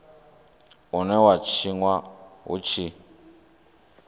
une wa tshinwa hu tshi